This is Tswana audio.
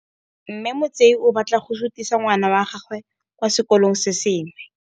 Mme Motsei o batla go sutisa ngwana wa gagwe kwa sekolong se sengwe.